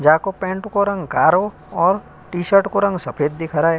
जा को पैंट को रंग कारो और टी-शर्ट को रंग सफेद दिख रए